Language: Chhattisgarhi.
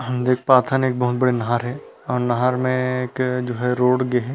हम देख पाथन एक बहुत बड़ी नहर है और नहर में एक जो है रोड गे हे।